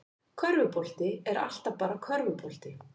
Körfubolti er alltaf bara körfubolti